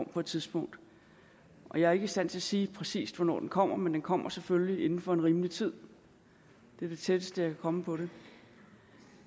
på et tidspunkt jeg er ikke i stand til at sige præcis hvornår den kommer men den kommer selvfølgelig inden for en rimelig tid det er det tætteste jeg kan komme på det